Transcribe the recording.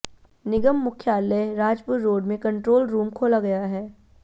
निगम मुख्यालय राजपुर रोड में control room खोला गया है